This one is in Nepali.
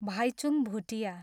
भाइचुङ भुटिया